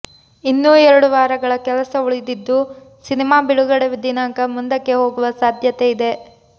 ಇನ್ನೂ ಎರಡು ವಾರಗಳ ಕೆಲಸ ಉಳಿದಿದ್ದು ಸಿನೆಮಾ ಬಿಡುಗಡೆ ದಿನಾಂಕ ಮುಂದಕ್ಕೆ ಹೋಗುವ ಸಾಧ್ಯತೆ ಇದೆ